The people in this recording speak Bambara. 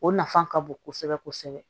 O nafa ka bon kosɛbɛ kosɛbɛ